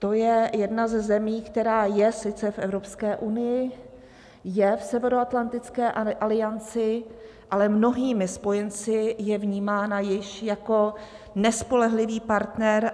To je jedna ze zemí, která je sice v Evropské unii, je v Severoatlantické alianci, ale mnohými spojenci je vnímána již jako nespolehlivý partner.